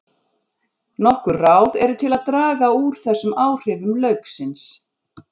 Nokkur ráð eru til að draga úr þessum áhrifum lauksins.